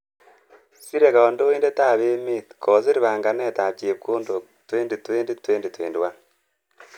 sire kandoindet ap emet kosiir banganet ap chepkondok 2020/21 .